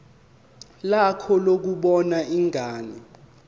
lakho lokubona ingane